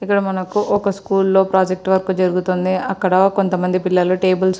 ఇక్కడ మనకి ఒక స్కూల్ ప్రోజెక్టు వర్క్ జరుగుతుంది. అక్కడ కొంత మంది పిల్లలు టేబుల్స్ --